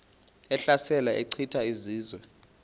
ehlasela echitha izizwe